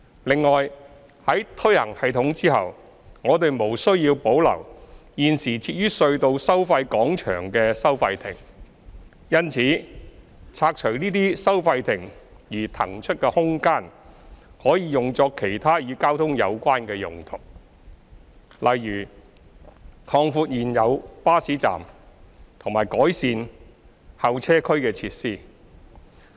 另外，在推行系統後，我們無需要保留現時設於隧道收費廣場的收費亭。因此，拆除這些收費亭而騰出的空間，可用作其他與交通有關的用途，例如擴闊現有巴士站及改善候車區設施。